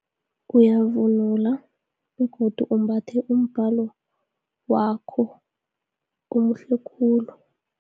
Uyavula, begodu umbathe umbalo wakho, omuhle khulu.